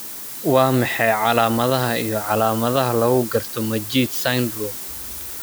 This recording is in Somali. Waa maxay calaamadaha iyo calaamadaha lagu garto Majeed syndrome?